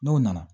N'o nana